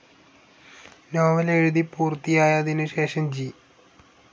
novel എഴുതി പൂർത്തിയായതിനുശേഷം G